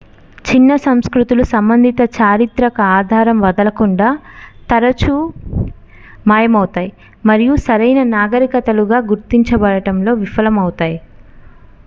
చిన్న సంస్కృతులు సంబంధిత చారిత్రక ఆధారం వదలకుండా తరచూ మాయమవుతాయి మరియు సరైన నాగరికతలుగా గుర్తించబడటంలో విఫలమవుతాయి